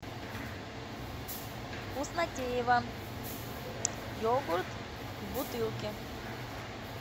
вкуснотеево йогурт в бутылке